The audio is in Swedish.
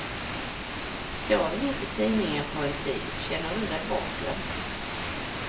Står det inget i tidningen på en tid känner du dig bortglömd.